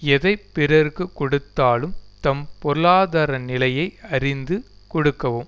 எதை பிறர்க்கு கொடுத்தாலும் தம் பொருளாதார நிலையை அறிந்து கொடுக்கவும்